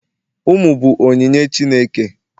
ụmụ bụ onyinye Chineke